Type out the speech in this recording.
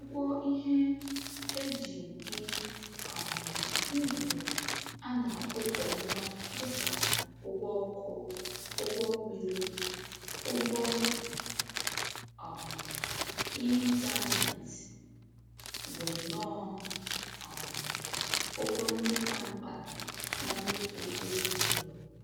Ụgwọ ihe e ji bi um ndụ a na-akwụ kwa ọnwa dịka ụgwọ ọkụ, ụgwọ mmiri, ụgwọ um ịntaneetị bụnnọ um ụgwọ ndị ka mkpa na mmefu ezinụlọ